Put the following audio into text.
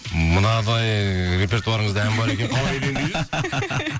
мынадай ыыы репертуарыңызда ән бар екен қалай үйленбей жүрсіз